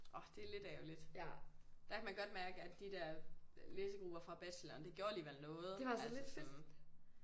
Orh det er lidt ærgerligt. Der kan man godt mærke at de der læsegrupper fra bacheloren det gjorde alligevel noget altså sådan